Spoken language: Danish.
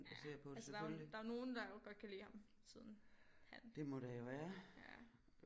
Ja altså der er jo der jo nogen der jo godt kan lide ham siden han ja